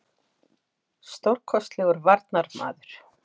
Stórkostlegur varnarmaður.